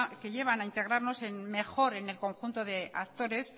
que llevan a integrarnos mejor en el conjunto de actores